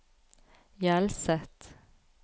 Hjelset